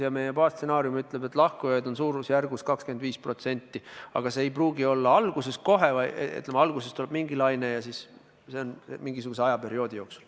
Ja meie baasstsenaarium ütleb, et lahkujaid on suurusjärgus 25%, aga see ei pruugi olla alguses kohe, vaid, ütleme, alguses tuleb mingi laine ja ülejäänu siis mingisuguse perioodi jooksul.